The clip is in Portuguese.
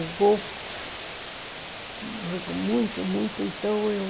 O Gol, muito, muito, então eu...